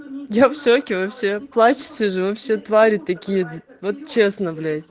я в шоке вообще плачу сижу вы все твари такие вот честно блять